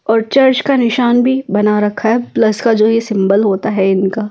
और चर्च का निशान भी बना रखा है प्लस का जो ये सिंबल होता है इनका--